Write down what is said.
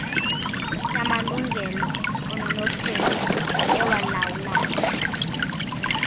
yamalungelo ononophelo ewalawulayo